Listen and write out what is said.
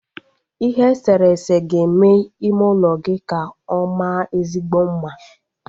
Ihe eserese ga-eme ime ụlọ gị ka ọ maa ezigbo mma